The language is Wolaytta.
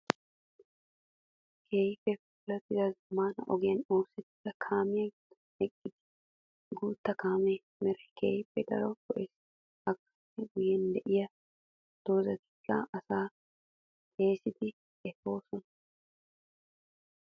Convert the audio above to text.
Keehippe puula zamaana ogiyan oosetiya kaamiya gidon eqidda guuta kaame meray keehippe daro lo'ees. Ha kaame guyen de'iya doozatikka asaa xeegiddi efosonnam